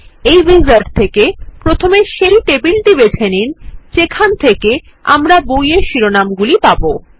এই উইজার্ড থেকে প্রথমে সেই টেবিলটি বেছে নিন যেখানে আমরা বইয়ের শিরোনাম পাবো